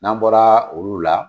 N'an bɔra olu la.